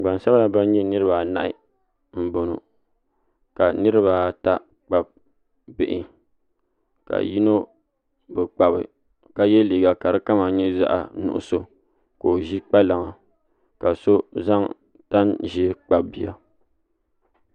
Gbansabila bin nyɛ niraba anahi n boŋo ka niraba ata kpabi bihi ka yino bi kpabi ka yɛ liiga ka di kama nyɛ zaɣ nuɣso ka o ʒi kpalaŋa ka so zaŋ tani ʒiɛ kpabi bia